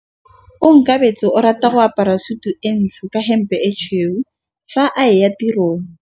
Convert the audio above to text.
Onkabetse o rata go apara sutu e ntsho ka hempe e tshweu fa a ya tirong.